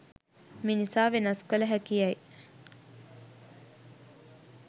මිනිසා වෙනස් කළ හැකි යැයි